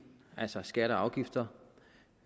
altså skatter og afgifter